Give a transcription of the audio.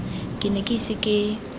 ke ne ke ise ke